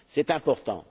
C'est important.